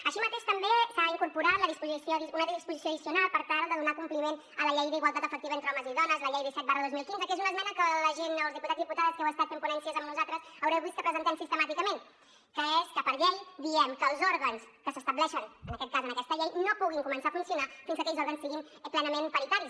així mateix també s’ha incorporat una disposició addicional per tal de donar compliment a la llei d’igualtat efectiva entre homes i dones la llei disset dos mil quinze que és una esmena que la gent els diputats i diputades que heu estat fent ponències amb nosaltres haureu vist que presentem sistemàticament que és que per llei diem que els òrgans que s’estableixen en aquest cas en aquesta llei no puguin començar a funcionar fins que aquells òrgans siguin plenament paritaris